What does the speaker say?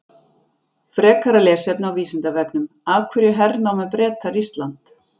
Frekara lesefni á Vísindavefnum: Af hverju hernámu Bretar Ísland?